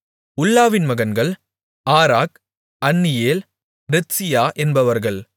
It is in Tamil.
உல்லாவின் மகன்கள் ஆராக் அன்னியேல் ரித்சியா என்பவர்கள்